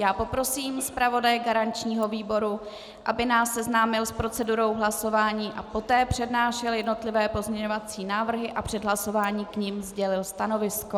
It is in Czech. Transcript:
Já poprosím zpravodaje garančního výboru, aby nás seznámil s procedurou hlasování a poté přednášel jednotlivé pozměňovací návrhy a před hlasováním k nim sdělil stanovisko.